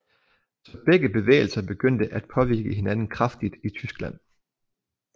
Så begge bevægelser begyndte at påvirke hinanden kraftigt i Tyskland